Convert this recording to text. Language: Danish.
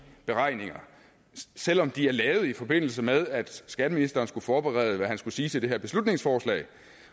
beregninger selv om de er lavet i forbindelse med at skatteministeren skulle forberede hvad han skulle sige til det her beslutningsforslag